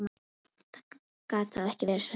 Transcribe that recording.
Það gat þá ekki verið svo slæmt.